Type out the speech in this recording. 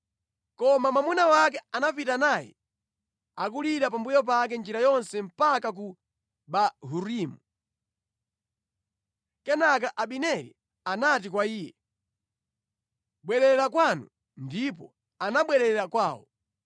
Koma mwamuna wake anapita naye akulira pambuyo pake njira yonse mpaka ku Bahurimu. Kenaka Abineri anati kwa iye, “Bwerera kwanu!” Ndipo anabwerera kwawo.